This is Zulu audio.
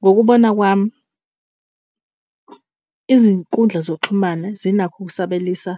Ngokubona kwami, izinkundla zokuxhumana zinakho ukusabelisa